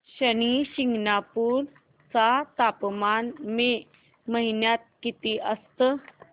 शनी शिंगणापूर चं तापमान मे महिन्यात किती असतं